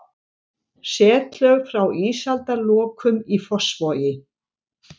Setlög frá ísaldarlokum í Fossvogi.